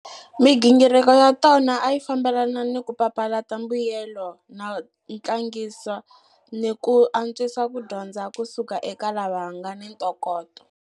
Migingiriko ya tona a yi fambelana ni ku papalata mbuyelelo no tlangisa ni ku antswisa ku dyondza ku suka eka lava nga ni ntokoto.